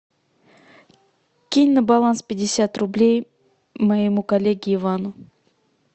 кинь на баланс пятьдесят рублей моему коллеге ивану